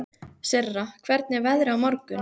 Sirra, hvernig er veðrið á morgun?